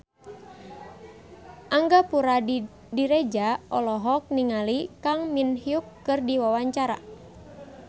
Angga Puradiredja olohok ningali Kang Min Hyuk keur diwawancara